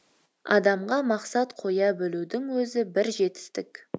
адамға мақсат қоя білудің өзі бір жетістік